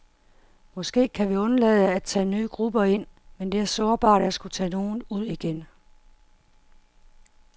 Måske kan vi undlade at tage nye grupper ind, men det er sårbart at skulle tage nogen ud igen.